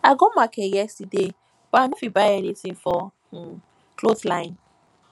i go market yesterday but i no fit buy anything for um cloth line